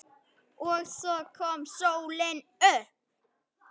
OG SVO KOM SÓLIN UPP.